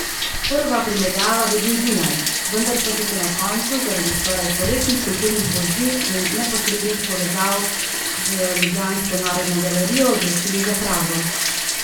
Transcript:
Prva primerjava bi bil Dunaj, vendar pa so se na koncu, zaradi skoraj stoletnih kulturnih vezi in neposrednih povezav z ljubljansko Narodno galerijo, odločili za Prago.